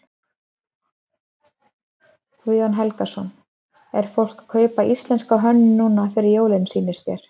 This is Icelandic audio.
Guðjón Helgason: Er fólk að kaupa íslenska hönnun núna fyrir jólin sýnist þér?